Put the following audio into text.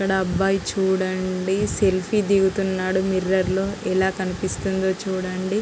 ఇక్కడ అబ్బాయి చూడండి సెల్ఫీ దిగుతున్నాడు మిర్రర్ లో ఎలా కనిపిస్తుందో చూడండి.